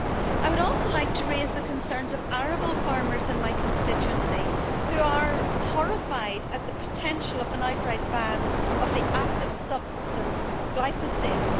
I would also like to raise the concerns of arable farmers in my constituency, who are horrified at the potential outright ban of the active substance glyphosate.